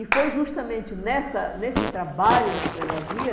E foi justamente nessa nesse trabalho na Prelazia